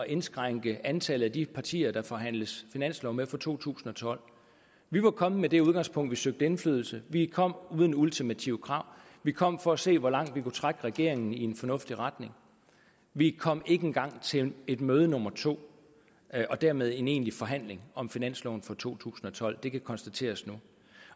indskrænke antallet af de partier der forhandles finanslov med for to tusind og tolv vi var kommet med det udgangspunkt at vi søgte indflydelse vi kom uden ultimative krav vi kom for at se hvor langt vi kunne trække regeringen i en fornuftig retning vi kom ikke engang til et møde nummer to og dermed en egentlig forhandling om finansloven for to tusind og tolv det kan konstateres nu